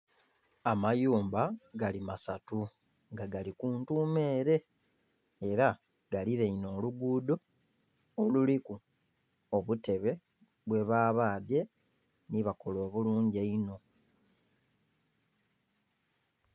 Amayumba gali masatu nga gali ku ntuuma ele, era galilainhe oluguudo oluliku obutebe bwebabadhye nhi bakola obulungi einho.